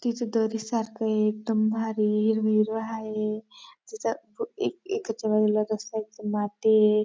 तिथं दरी सारखंए एकदम भारी हिरव हिरव हाये. तिथं इकडच्या बाजूला रस्ताए. तिथं मातीए.